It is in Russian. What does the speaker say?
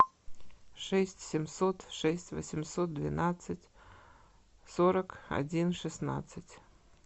шесть семьсот шесть восемьсот двенадцать сорок один шестнадцать